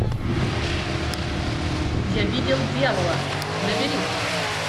я видел дьявола набери